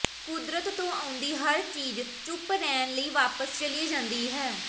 ਕੁਦਰਤ ਤੋਂ ਆਉਂਦੀ ਹਰ ਚੀਜ ਚੁੱਪ ਰਹਿਣ ਲਈ ਵਾਪਸ ਚਲੀ ਜਾਂਦੀ ਹੈ